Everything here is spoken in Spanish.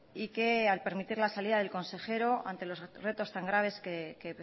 y que al permitir la salida del consejero ante los retos tan graves que